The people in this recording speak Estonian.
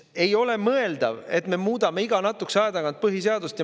Ei ole mõeldav, et me muudame iga natukese aja tagant põhiseadust.